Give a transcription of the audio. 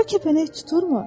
O kəpənək tuturmu?